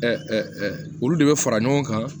olu de bɛ fara ɲɔgɔn kan